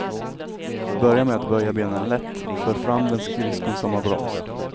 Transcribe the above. Börja med att böja benen lätt, för fram den skridskon som har broms.